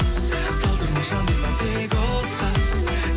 талдырма жандырма тек отқа